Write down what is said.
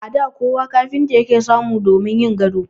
A da kafinta kowa ke samu damin yin gado.